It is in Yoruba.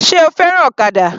Sé o fẹ́ràn ọ̀kadà?